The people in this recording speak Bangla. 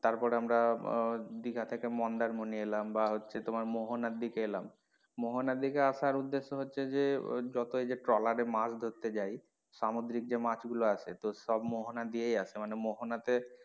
তারপরে আমরা আহ দিঘা থেকে মন্দারমনি এলাম বা হচ্ছে তোমার মোহনার দিকে এলাম মোহনার দিকে আসার উদ্দেশ্য হচ্ছে যে যত এই ট্রলারে মাছ ধরতে যাই সামুদ্রিক যে মাছ গুলো আছে তো সব মোহনা দিয়ে আসে মানে মোহনা তে,